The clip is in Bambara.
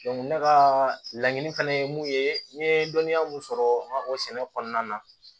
ne ka laɲini fɛnɛ ye mun ye n ye dɔnniya mun sɔrɔ n ka o sɛnɛ kɔnɔna na